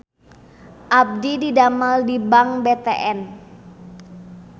Abdi didamel di Bank BTN